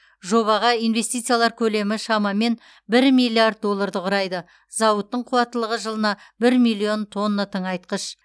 жобаға инвестициялар көлемі шамамен бір миллиард долларды құрайды зауыттың қуаттылығы жылына бір миллион тонна тыңайтқыш